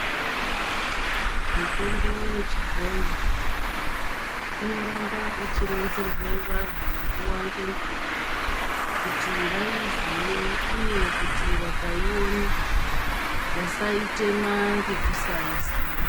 Mitombo yechibhoyi inoramba ichironzerwe vantu nguwa ngenguwa kuti vaiziye uye kuti vakaiona vasaitema ngekusaiziya .